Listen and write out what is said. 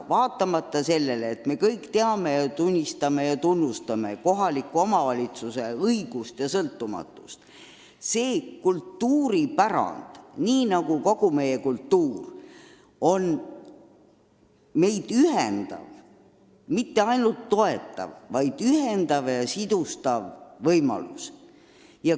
Muidugi me kõik tunnistame ja tunnustame kohaliku omavalitsuse õigusi ja sõltumatust, aga see kultuuripärand, nii nagu kogu meie kultuur, peab olema meid ühendav lüli.